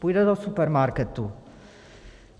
Půjde do supermarketu.